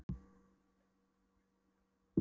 Þú átt ekki að tala við mig í fleirtölu.